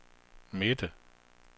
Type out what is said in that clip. midte